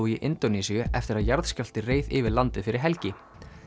í Indónesíu eftir að jarðskjálfti reið yfir landið fyrir helgi